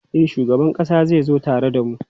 E, shugaban ƙasa zai zo tare da mu.